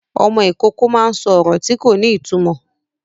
Ọmọ Ìkọkọ má ń sọ ọrọ tí kò ní ìtumọ